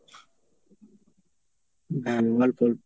হ্যাঁ অল্প অল্প।